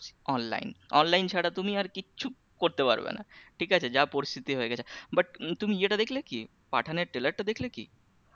Online online ছাড়া তুমি আর কিচ্ছু করতে পারবে না ঠিক আছে যা পরিস্থিতি হয়ে গেছে but তুমি ইয়েটা দেখলে কি? পাঠানোর trailer টা দেখলে কি?